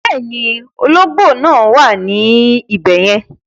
Bẹ́ẹ̀ni, ọlọ́gbò náà wà ní ibẹ̀yẹ̀n